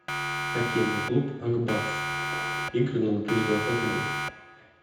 хоккейный клуб ак барс игры на две тысячи двадцатый год